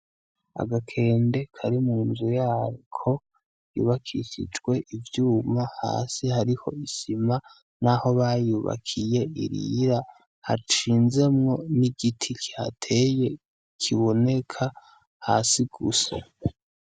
Agakende Kari mu nzu yako yubakishijwe ivyuma hasi hariho isima n'aho bayubakiye irira, hashinzemwo n'igiti kihateye kiboneka hasi gusa.